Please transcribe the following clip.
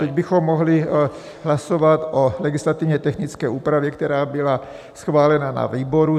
Teď bychom mohli hlasovat o legislativně technické úpravě, která byla schválena na výboru.